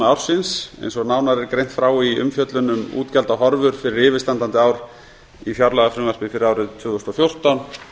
ársins eins og nánar er greint frá í umfjöllun um útgjaldahorfur fyrir yfirstandandi ár í fjárlagafrumvarpi fyrir árið tvö þúsund og fjórtán